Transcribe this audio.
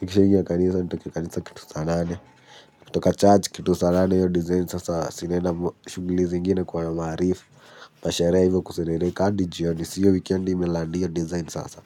Nikisha ingia kanisa, nitoke kanisa kitu saa nane. Kutoka church kitu saa nane hiyo design sasa, si naenda shughuli zingine kuona maarif. Sherehe hivyo kuserereka hadi jioni, si hiyo wikendi imelandi hiyo design sasa.